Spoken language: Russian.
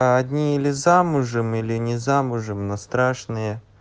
а одни или замужем или не замужем но страшные